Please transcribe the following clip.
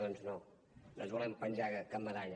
doncs no no ens volem penjar cap medalla